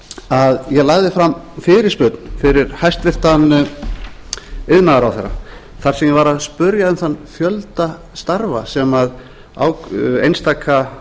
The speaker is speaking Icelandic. að ég lagði fram fyrirspurn fyrir hæstvirtur iðnaðarráðherra þar sem ég var að spyrja um þann fjölda starfa sem einstaka